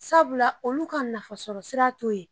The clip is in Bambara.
Sabula olu ka nafasɔrɔ sira t'o ye